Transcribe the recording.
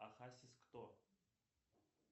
ахасис кто